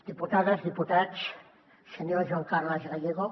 diputades diputats senyor joan carles gallego